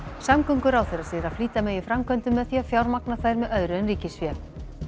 samgönguráðherra segir að flýta megi framkvæmdum með því að fjármagna þær með öðru en ríkisfé